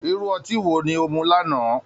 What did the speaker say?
Irú ọtí wo ni o mu lánàá?